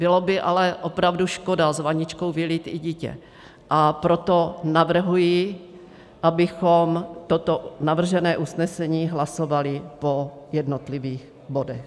Byla by ale opravdu škoda s vaničkou vylít i dítě, a proto navrhuji, abychom toto navržené usnesení hlasovali po jednotlivých bodech.